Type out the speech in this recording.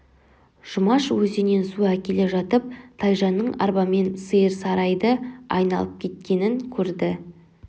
жұмаш өзеннен су әкеле жатып тайжанның арбамен сиыр сарайды айналып кеткенін көрді